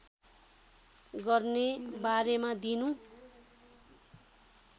गर्ने बारेमा दिनु